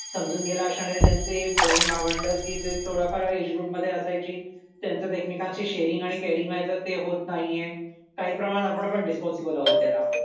समजून घेईल अशाने त्यांचे बहिण भावंड की जे सोळा फार एज ग्रुप मध्ये असायचे त्यांचं एकमेकांशी शेअरिंग आणि केअरिंग व्हायचं ते होत नाहीये काही प्रमाणात आपण पण रिस्पॉन्सिबल आहोत त्याला